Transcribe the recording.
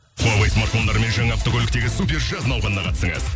хуавей смартфондарымен жаңа автокөліктегі супер жаз науқанына қатысыңыз